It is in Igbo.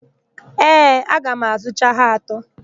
Ee, aga m azụcha ha atọ.